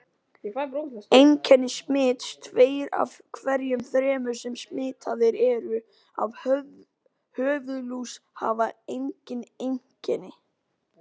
Einkenni smits Tveir af hverjum þremur sem smitaðir eru af höfuðlús hafa engin einkenni.